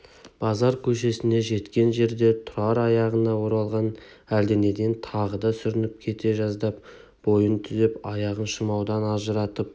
базар көшесіне жеткен жерде тұрар аяғына оралған әлденеден тағы да сүрініп кете жаздап бойын түзеп аяғын шырмаудан ажыратып